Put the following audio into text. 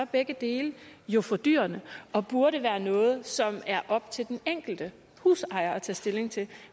begge dele jo fordyrende og burde være noget som er op til den enkelte husejer at tage stilling til